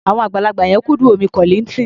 Àwọn àgbàlagbà yẹn kúndùn orin Kollignton.